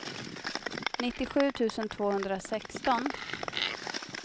nittiosju tusen tvåhundrasexton